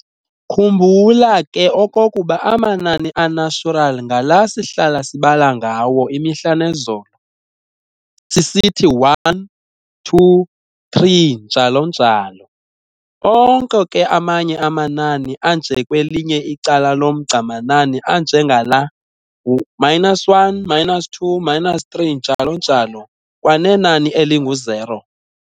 Khumbula ke okokuba amanani a-natural ngala sihlala sibala ngawo imihla nezolo, sisithi 1,2,3, njalo njalo. Onke ke amanye amanani anje kwelinye icala lomgca manani anje ngala -1, -2, -3, njalo njalo, kwanenani elingu-zero.